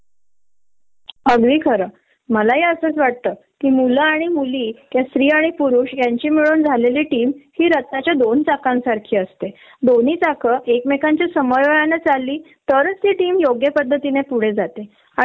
अगदी खर. कारण कस होतय! आपण एवढ्या साऱ्या जबाबदऱ्या सांभाळतो आपण कामावरती पण आपल हंड्रेड पर्सेंटेज देतो तर एक माणुसकी म्हणून थोडस हव न एक चांगला टीम लीडर सगळ्यांना एकत्र बरोबर घेऊन जातो